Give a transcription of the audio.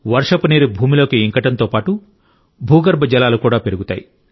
వర్షపు నీరు భూమిలోకి ఇంకడంతో పాటు భూమిపై ఉండే నీటి స్థాయిని కూడా మెరుగుపరుస్తుంది